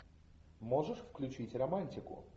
можешь включить романтику